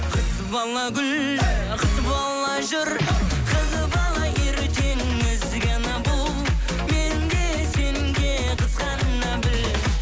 қыз бала гүл қыз бала жүр қыз бала ертең ізгі ана бұл мен де сен де қызғана біл